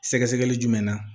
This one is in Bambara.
Sɛgɛsɛgɛli jumɛn na